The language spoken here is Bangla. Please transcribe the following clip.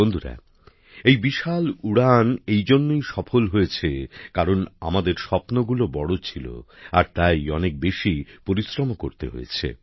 বন্ধুরা এই বিশাল উড়ান এই জন্যই সফল হয়েছে কারণ আমাদের স্বপ্নগুলো বড় ছিল আর তাই অনেক বেশি পরিশ্রমও করতে হয়েছে